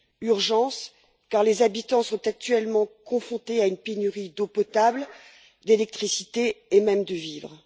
Urgence car les habitants sont actuellement confrontés à une pénurie d'eau potable, d'électricité et même de vivres.